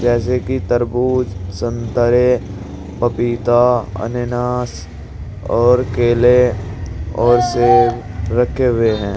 जैसे कि तरबूज संतरे पपीता अनानास और केले और सेब रखे हुए हैं।